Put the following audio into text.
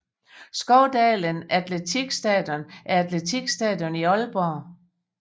Skovdalen Atletikstadion er et atletikstadion i Aalborg